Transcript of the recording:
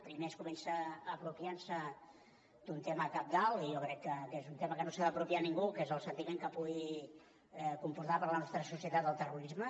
primer comença apropiant se d’un tema cabdal i jo crec que és un tema que no s’ha d’apropiar ningú que és el sentiment que pugui comportar per la nostra societat el terrorisme